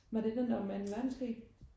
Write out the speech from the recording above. Var det den der var med anden verdenskrig?